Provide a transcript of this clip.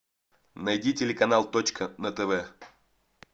найди телеканал точка на тв